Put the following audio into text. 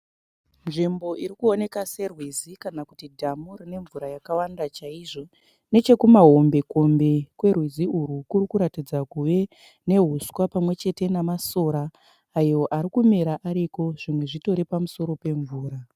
Nzvimbo iri kuoneka serwizi kana kuti dhamu rine mvura yakawanda chaizvo. Nechekumahombekombe kwerwizi urwu kuri ratidza kuve nehuswa pamwe chete nemasora ayo ari kumera ariko. Zimwe zvitori pamusoro pemvura.